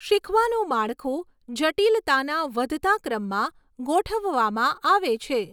શીખવાનું માળખું જટિલતાના વધતા ક્રમમાં ગોઠવવામાં આવે છે.